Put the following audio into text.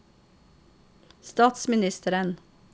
statsministeren